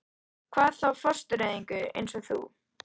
Hvað þá fóstureyðingu- eins og þú.